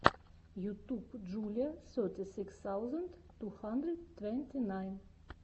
ютуб джулиа сети сикс саузенд ту хандрид твэнти найн